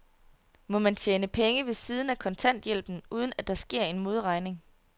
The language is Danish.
Må man tjene penge ved siden af kontanthjælpen, uden at der sker en modregning?